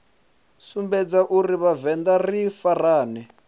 sumbedza uri vhavenḓa ri farane